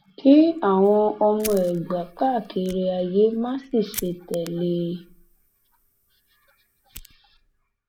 kí àwọn ọmọ ẹgbà káàkiri ayé má sì ṣe tẹlẹ ẹ